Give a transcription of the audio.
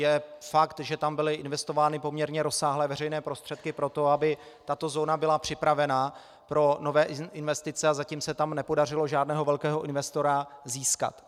Je fakt, že tam byly investovány poměrně rozsáhlé veřejné prostředky pro to, aby tato zóna byla připravena na nové investice, a zatím se tam nepodařilo žádného velkého investora získat.